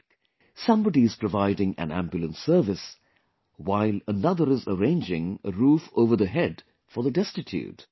Like, somebody is providing an ambulance service, while another is arranging a roof over the head for the destitute